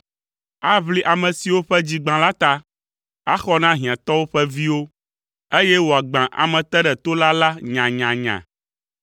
Aʋli ame siwo ƒe dzi gbã la ta, axɔ na hiãtɔwo ƒe viwo, eye wòagbã ameteɖetola la nyanyanya.